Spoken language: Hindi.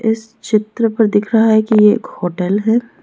इस चित्र पर दिख रहा है कि ये एक होटल है।